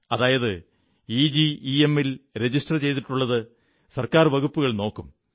അതായത് ഇജെമ്മിൽ രജിസ്റ്റർ ചെയ്തിട്ടുള്ളത് ഗവൺമെന്റ് വകുപ്പുകൾ നോക്കും